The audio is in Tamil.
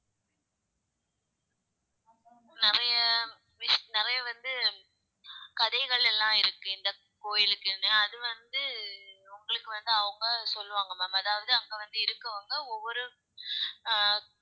நிறைய விஷ்~ நிறைய வந்து கதைகள் எல்லாம் இருக்கு இந்தக் கோயிலுக்குன்னு அது வந்து உங்களுக்கு வந்து அவங்க சொல்லுவாங்க ma'am அதாவது அங்க வந்து இருக்கவங்க ஒவ்வொரு அஹ்